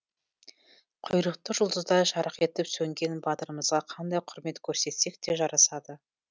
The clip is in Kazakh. құйрықты жұлдыздай жарқ етіп сөнген батырымызға қандай құрмет көрсетсек те жарасады